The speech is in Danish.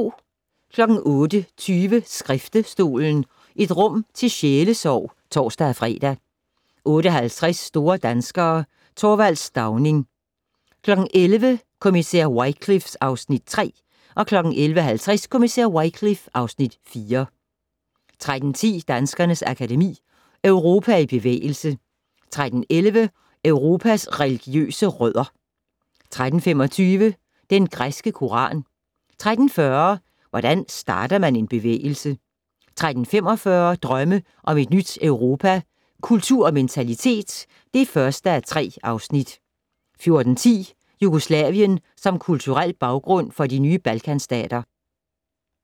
08:20: Skriftestolen - et rum til sjælesorg (tor-fre) 08:50: Store danskere - Th. Stauning 11:00: Kommissær Wycliffe (Afs. 3) 11:50: Kommissær Wycliffe (Afs. 4) 13:10: Danskernes Akademi: Europa i bevægelse 13:11: Europas religiøse rødder 13:25: Den græske koran 13:40: Hvordan starter man en bevægelse? 13:45: Drømme om et nyt Europa - Kultur og mentalitet (1:3) 14:10: Jugoslavien som kulturel baggrund for de nye Balkanstater